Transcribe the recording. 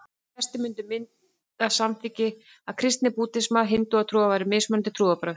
Flestir myndu til að mynda samþykkja að kristni, búddismi og hindúatrú væru mismunandi trúarbrögð.